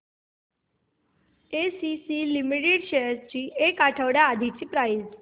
ACC limited shares ची एक आठवड्या आधीची प्राइस